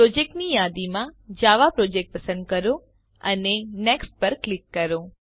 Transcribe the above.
પ્રોજેક્ટની યાદીમાં Java project પસંદ કરો અને Nextપર ક્લિક કરો